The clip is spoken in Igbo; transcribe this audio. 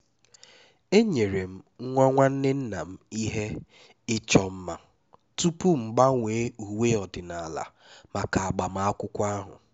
enyere m nwa nwanne nna m ihe ịchọ mma tupu m gbanwee uwe ọdịnala maka agbamakwụkwọ ahụ